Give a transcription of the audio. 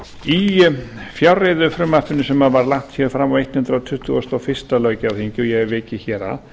í fjárreiðufrumvarpinu sem var lagt fram á hundrað tuttugasta og fyrsta löggjafarþingi og ég hef vikið að